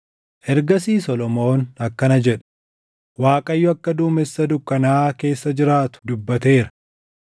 Ergasii Solomoon akkana jedhe; “ Waaqayyo akka duumessa dukkanaaʼaa keessa jiraatu dubbateera;